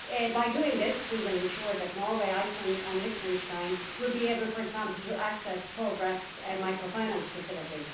By doing this, we will ensure that Norway, Iceland and Liechtenstein will be able, for example, to access the Progress Microfinance Facility.